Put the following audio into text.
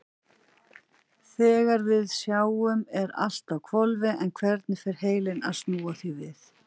Þegar við sjáum er allt á hvolfi en hvernig fer heilinn að snúa því við?